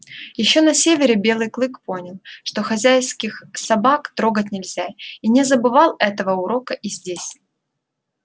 ещё на севере белый клык понял что хозяйских собак трогать нельзя и не забывал этого урока и здесь